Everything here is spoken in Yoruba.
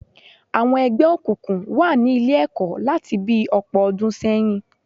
Àwọn ẹgbẹ́ òkùnkùn wà ni Ilé-ẹ̀kọ́ láti bi ọ̀pọ̀ ọdún sẹ́yìn